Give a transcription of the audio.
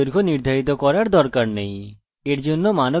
date এর জন্য দৈর্ঘ্য নির্ধারিত করার দরকার নেই